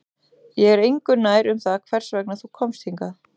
Ég er engu nær um það hvers vegna þú komst hingað